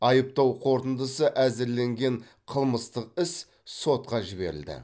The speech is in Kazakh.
айыптау қорытындысы әзірленген қылмыстық іс сотқа жіберілді